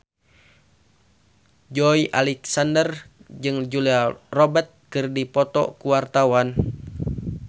Joey Alexander jeung Julia Robert keur dipoto ku wartawan